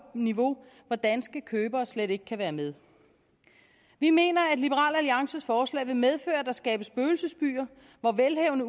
niveau hvor danske købere slet ikke kan være med vi mener at liberal alliances forslag vil medføre at der skabes spøgelsesbyer hvor velhavende